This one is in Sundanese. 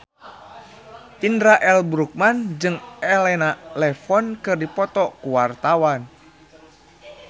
Indra L. Bruggman jeung Elena Levon keur dipoto ku wartawan